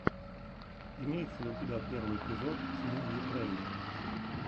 имеется ли у тебя первый эпизод смувюкрэйн